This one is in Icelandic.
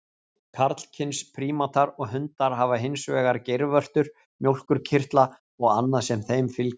Karlkyns prímatar og hundar hafa hins vegar geirvörtur, mjólkurkirtla og annað sem þeim fylgir.